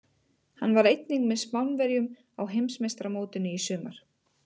Hann var einnig með Spánverjum á Heimsmeistaramótinu í sumar.